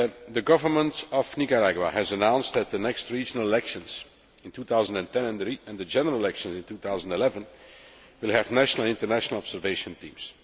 The government of Nicaragua has announced that the next regional elections in 2010 and the general election in 2011 will have national and international observation teams.